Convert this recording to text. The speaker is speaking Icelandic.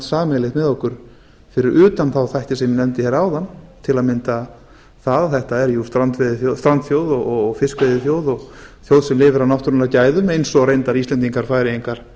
sameiginlegt með okkur fyrir utan þá þætti sem ég nefndi hér áðan til að mynda það að þetta er jú strandþjóð og fiskveiðiþjóð og þjóð sem lifir á náttúrunnar gæðum eins á reyndar íslendingar færeyingar